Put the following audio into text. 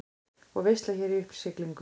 Og veisla hér í uppsiglingu.